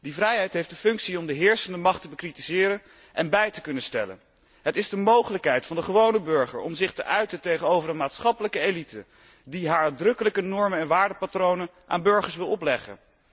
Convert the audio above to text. Die vrijheid heeft de functie om de heersende macht te bekritiseren en bij te stellen. Het is de mogelijkheid van de gewone burger om zich te uiten tegenover een maatschappelijke elite, die haar uitdrukkelijke normen en waardepatronen aan burgers wil opleggen.